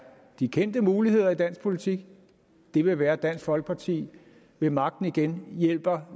de kendte muligheder i dansk politik ville være at dansk folkeparti ved magten igen hjælper